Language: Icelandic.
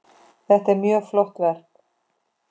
Þetta er mjög flott verk.